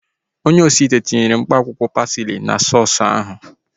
Onye osi ite ahu tinyere akwụkwọ pasili na sọọsu ahu